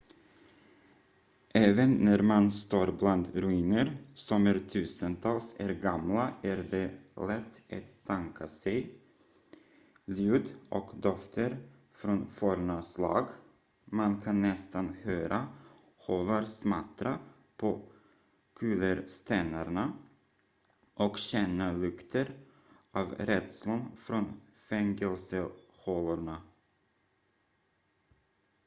även när man står bland ruiner som är tusentals är gamla är det lätt att tänka sig ljud och dofter från forna slag man kan nästan höra hovar smattra på kullerstenarna och känna lukten av rädslan från fängelsehålorna